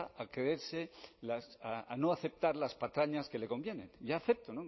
a creerse a no aceptar las patrañas que le conviene yo acepto